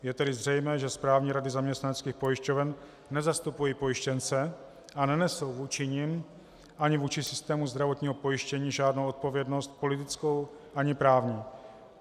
Je tedy zřejmé, že správní rady zaměstnaneckých pojišťoven nezastupují pojištěnce a nenesou vůči nim ani vůči systému zdravotního pojištění žádnou odpovědnost politickou ani právní.